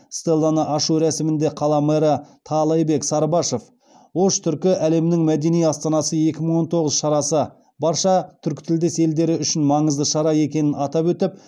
стелланы ашу рәсімінде қала мэрі таалайбек сарыбашов ош түркі әлемінің мәдени астанасы екі мың он тоғыз шарасы барша түркітілдес елдері үшін маңызды шара екенін атап өтіп